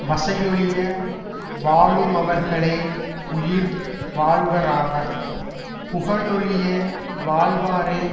வசையொழிய வாழுமவர்களே உயிர் வாழ்வாராவர் புகழொழிய வாழ்வாரே